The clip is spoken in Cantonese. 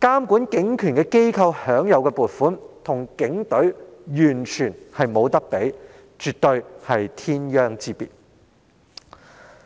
這個監管警權的機構所享有的撥款可說與警隊完全無法相比，絕對是天壤之別。